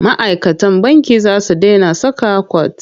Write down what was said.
Ma'aikatan banki za su dena saka kwat.